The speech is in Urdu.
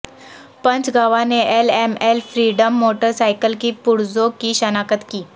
پنچ گواہ نے L M L Freedom motorcycle کے پرزوں کی شناخت کی